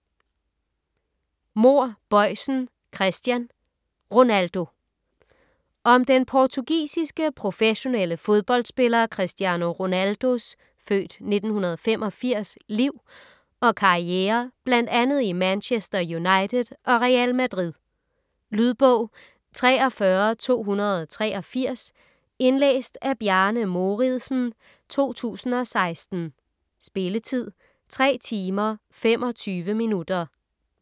Mohr Boisen, Christian: Ronaldo Om den portugisiske, professionelle fodboldspiller Cristiano Ronaldos (f. 1985) liv og karriere bl.a. i Manchester United og Real Madrid. Lydbog 43283 Indlæst af Bjarne Mouridsen, 2016. Spilletid: 3 timer, 25 minutter.